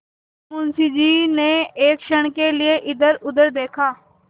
मुंशी जी ने एक क्षण के लिए इधरउधर देखा